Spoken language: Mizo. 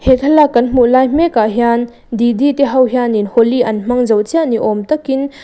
he thlalak kan hmuh lai mekah hian didi te ho hian in holi an hmang zo chiah ni awm tak in--